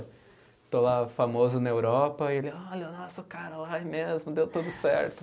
Estou lá famoso na Europa e ele, olha, o nosso cara lá é mesmo, deu tudo certo.